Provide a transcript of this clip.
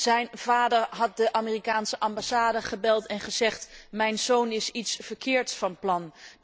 Zijn vader had de Amerikaanse ambassade gebeld en gezegd Mijn zoon is iets verkeerds van plan.